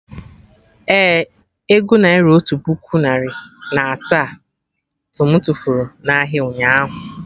Ee, ego naira otu puku narị na asaa to mụ furu na ahịa, ụnyaahụ